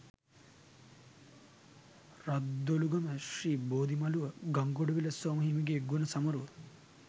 රද්දොළුගම ශ්‍රී බෝධිමළුව ගංගොඩවිල සෝම හිමිගේ ගුණ සමරුව